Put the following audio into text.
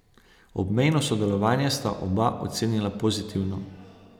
Obmejno sodelovanje sta oba ocenila pozitivno.